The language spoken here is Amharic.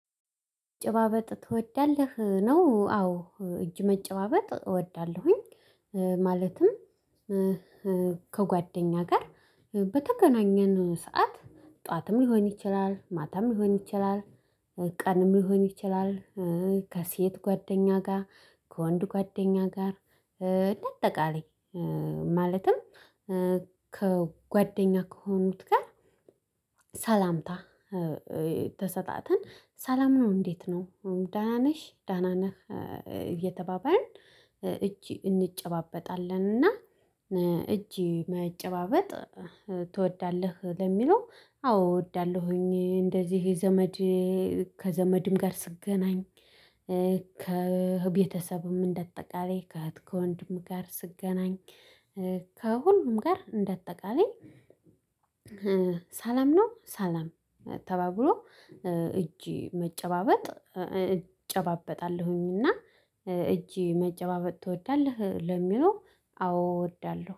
መጨባበጥ ትወዳለህ? ነው አዎ እጅ መጨባበጥ እወዳለሁኝ። ማለትም ከጓደኛ ጋር በተገናኘን ሰዓት ጠዋትም ሊሆን ይችላል ማታም ሊሆን ይችላል። ቀንም ሊሆን ይችላል። ከሴት ጓደኛ ጋር ከወንድ ጓደኛ ጋር። ባጠቃላይ ማለትም ከጓደኛ ከሆኑት ጋር ሰላምታ ተሰጣትን ሰላም ነው። እንዴት ነው አሁን ዳና ነሽ ዳና ነሽ እየተባባልን እጅ እንጨባበጣለን። እና እጅ መጨባበጥ ትወዳለህ ለሚለው አዎ እወዳለሁኝ። እንደዚህ ዘመድ ከዘመድም ጋር ስገናኝ ከቤተሰብም እንደጠቃላይ ከወንድም ጋር ስገናኝ ከሁሉም ጋር እንደጠቃላይ ሰላም ነው። ሰላም ተባብሎ እጅ መጨባበጥ እጨባበጣለሁኝና። እጅ መጨባበጥ ትወዳለህ ለሚለው አዎ እወዳለሁ